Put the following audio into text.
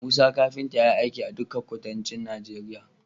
Musa kafinta yayi aiki a dikan kuduncin Nigeria